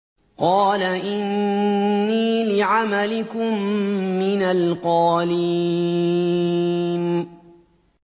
قَالَ إِنِّي لِعَمَلِكُم مِّنَ الْقَالِينَ